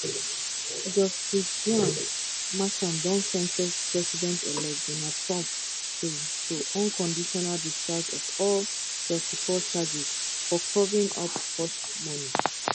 justice juan merchan don sen ten ce presidentelect donald trump to to unconditional discharge of all 34 charges for covering up hushmoney